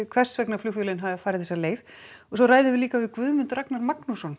hvers vegna flugfélögin hafi farið þessa leið svo ræðum við líka við Guðmund Ragnar Magnússon